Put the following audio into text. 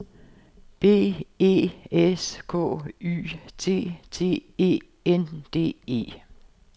B E S K Y T T E N D E